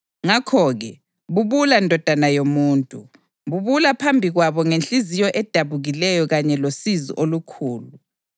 Ngakho-ke bubula ndodana yomuntu! Bubula phambi kwabo ngenhliziyo edabukileyo kanye losizi olukhulu.